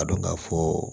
A dɔn ka fɔɔ